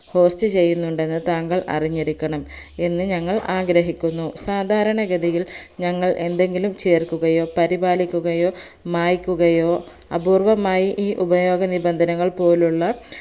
host ചെയ്യുന്നുണ്ടെന്ന് താങ്കൾ അറിഞ്ഞിരിക്കണം എന്ന് ഞങ്ങൾ ആഗ്രഹിക്കുന്നു സാദാരണഗതിയിൽ ഞങ്ങൾ എന്തെങ്കിലും ചേർക്കുകയോ പരിപാലിക്കുകയോ മായ്ക്കുകയോ അപൂർവമായി ഈ ഉപയോഗനിബന്ധനകൾപോലുള്ള